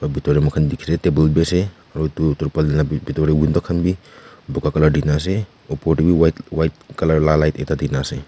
bethor dae mokhan dekhe leh table bhi ase aro dur turbalene la bh bethor dae window khan bhi buka colour dena ase opor dae bhi white white colour la light ekta dena ase.